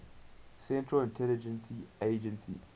central intelligence agency